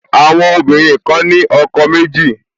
Àwọn obìnrin kan ní ọkọ méjì